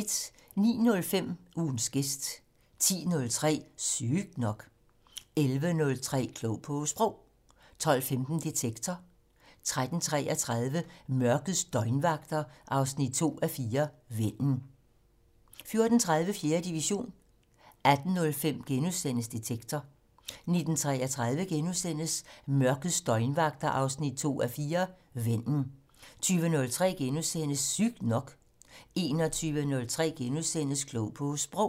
09:05: Ugens gæst 10:03: Sygt nok 11:03: Klog på Sprog 12:15: Detektor 13:33: Mørkets døgnvagter 2:4 - Vennen 14:30: 4. division 18:05: Detektor * 19:33: Mørkets døgnvagter 2:4 - Vennen * 20:03: Sygt nok * 21:03: Klog på Sprog *